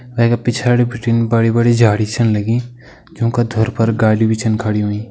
अर वैका पिछाड़ी बिटिन बड़ी बड़ी झाड़ी छन लगीं यूं का धुर पर गाड़ी भी छन खड़ी होईं।